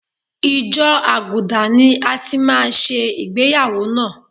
Ìjọ àgùdà ni a ti máa ṣe ìgbéyàwó náà.